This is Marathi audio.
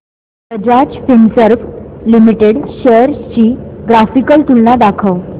बजाज फिंसर्व लिमिटेड शेअर्स ची ग्राफिकल तुलना दाखव